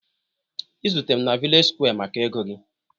izute m na vllage squa maka ego gị